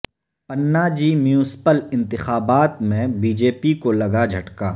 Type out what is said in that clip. Panaji municipal انتخابات میں B J P کو لگا جھٹکا